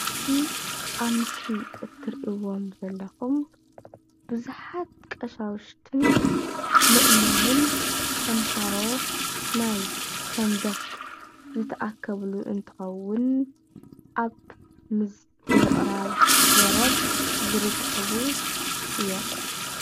እዚ ኣብ ምስሊ እትርእዎ ዘለኩም ብዙሓት ቐሻውሽትን ምእመነን ተምሃሮ ናይ ሰንበት ዝተኣከብሉ እንትከውን ኣብ ምቅራብ ወረብ ዝርከቡ እዮም።